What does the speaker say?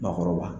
Maakɔrɔba